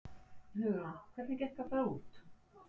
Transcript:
Hugrún: Hvernig gekk að fara út?